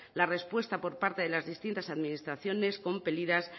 la respuesta por parte de las distintas administraciones compelidas